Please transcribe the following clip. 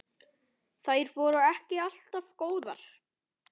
Þær voru ekki alltaf góðar.